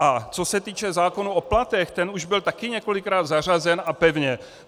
A co se týče zákona o platu, ten už byl taky několikrát zařazen a pevně.